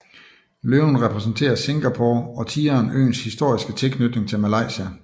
Løven repræsenterer Singapore og tigeren øens historiske tilknytning til Malaysia